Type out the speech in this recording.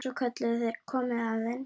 Svo kölluðu þeir: Komiði aðeins!